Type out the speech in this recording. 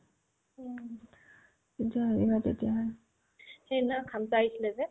সেইদিনা খামছা আহিছিলে যে